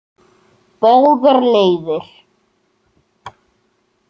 Báðar leiðir.